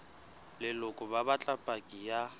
leloko ba batla paki ya